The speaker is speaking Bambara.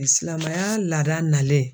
Silamɛya laada nalen.